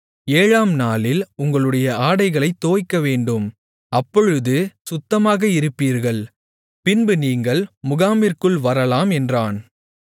ஏழாம் நாளில் உங்களுடைய ஆடைகளைத் தோய்க்கவேண்டும் அப்பொழுது சுத்தமாக இருப்பீர்கள் பின்பு நீங்கள் முகாமிற்குள் வரலாம் என்றான்